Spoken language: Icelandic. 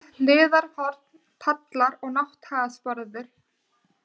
Sokkadý, Hlíðarhorn, Pallar, Nátthagasporður